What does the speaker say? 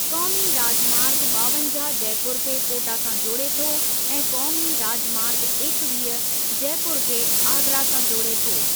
क़ौमी राजमार्ग ॿावंजाह जयपुर खे कोटा सां जोड़े थो ऐं क़ौमी राजमार्ग एकवीह जयपुर खे आगरा सां जोड़े थो।